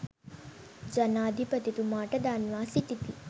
ජනාධිපතිතුමාට දන්වා සිටිති.